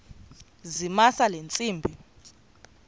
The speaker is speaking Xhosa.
zamisa le ntsimbi